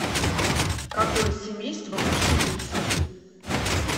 какое семейство у пшеницы